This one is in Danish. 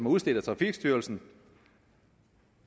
udstedt af trafikstyrelsen